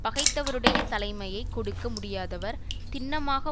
பகைத்தவருடையத் தலைமையை கொடுக்க முடியாதவர் திண்ணமாக